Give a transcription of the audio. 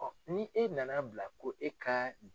ni e na na bila ko e ka